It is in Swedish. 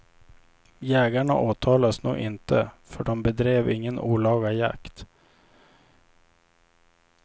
Jägarna åtalas nog inte för de bedrev ingen olaga jakt.